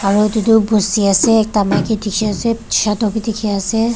aru etu tu bosti ase ekta maiki dikhi ase shadow bhi dikhi ase.